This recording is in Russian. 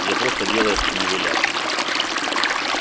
я просто делаю что мне велят